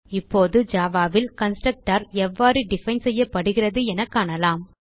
இப்போது ஜாவா ல் கன்ஸ்ட்ரக்டர் எவ்வாறு டிஃபைன் செய்யப்படுகிறது என காணலாம்